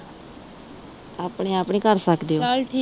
ਆਪਣੇ ਆਪ ਨੀ ਕਰ ਸਕਦੇ ਉਹ